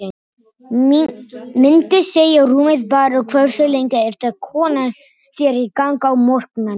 Myndi segja rúmið bara Hversu lengi ertu að koma þér í gang á morgnanna?